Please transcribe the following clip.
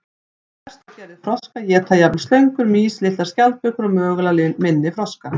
Stærstu gerðir froska éta jafnvel slöngur, mýs, litlar skjaldbökur og mögulega minni froska.